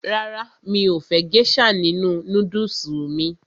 Rárá, mi ò fẹ́ gésà nínu nódùsù mí